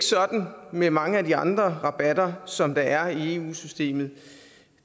med mange af de andre rabatter som der er i eu systemet